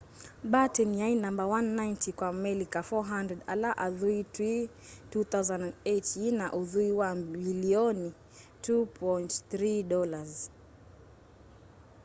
batten yai namba 190 kwa amelika 400 ala athui twi 2008 yina uthui wa mbilioni $2.3